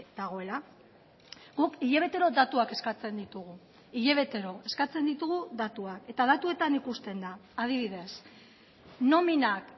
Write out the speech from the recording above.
dagoela guk hilabetero datuak eskatzen ditugu hilabetero eskatzen ditugu datuak eta datuetan ikusten da adibidez nominak